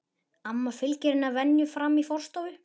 Amma fylgir henni að venju fram í forstofu.